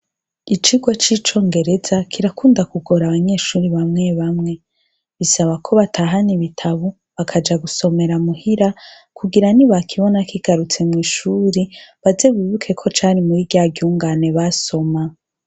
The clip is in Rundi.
Icigwa c'icongereza kirakunda kugora abanyeshure bamwebamwe. Bisaba ko batahana ibitabu bakaja gusomera mu hira, kugira nibakibona kigarutse mw'ishuri, baze bibuke ko cari muri rya ryungane basoma.